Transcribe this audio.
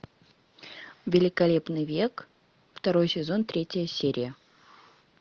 великолепный век второй сезон третья серия